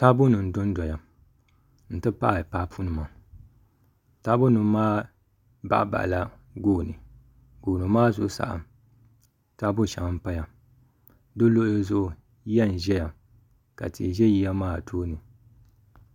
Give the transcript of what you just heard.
Taabo nim n dondoya n ti pahi papu nima taabo nim maa baɣa baɣala gooni gooni maa zuɣusaa taabo shɛŋa n paya di luɣuli zuɣu yiya n ʒɛya ka tihi ʒɛ yiya maa tooni